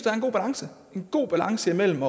er en god balance i en god balance mellem